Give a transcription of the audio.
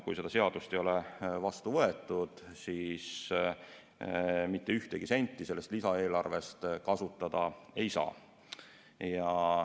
Kui seda seadust ei ole vastu võetud, siis mitte ühtegi senti sellest lisaeelarvest kasutada ei saa.